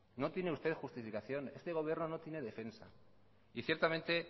no tiene usted justificación este gobierno no tiene defensa y ciertamente